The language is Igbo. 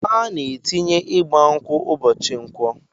Ana atinye igba nkwụ ubochi nkwọ